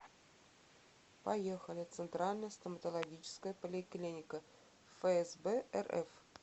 поехали центральная стоматологическая поликлиника фсб рф